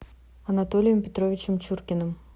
анатолием петровичем чуркиным